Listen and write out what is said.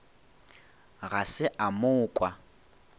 ga se a mo kwa